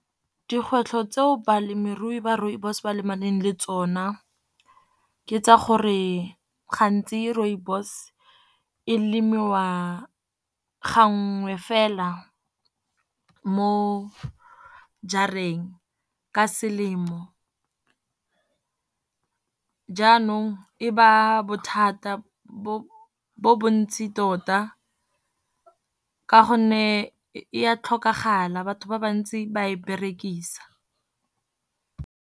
Dikgwetlho tseo balemirui ba rooibos ba lebaneng le tsona, ke tsa gore gantsi rooibos e lemiwa gangwe fela mo jareng ka selemo. Jaanong e ba bothata bo bontsi tota, ka gonne e ya tlhokagala batho ba bantsi ba e berekisa.